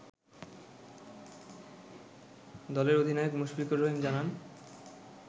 দলের অধিনায়ক মুশফিকুর রহিম জানান